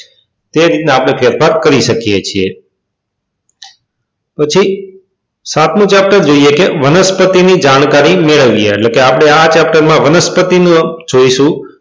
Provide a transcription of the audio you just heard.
તે રીતના આપણે ફેરફાર કરી શકીએ છીએ પછી સાતમું ચેપ્ટર જોઈએ કે વનસ્પતિ ની જાણકારી મેળવીએ એટલે આપણે આ ચેપ્ટરમાં વનસ્પતિનું જોઈશું.